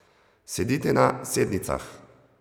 Sedite na sednicah.